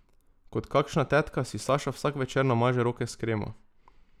Kot kakšna tetka si Saša vsak večer namaže roke s kremo.